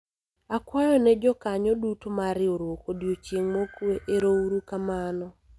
akwayo ne jokanyo duto mar riwruok odiochieng' mokwe ,erouru kamano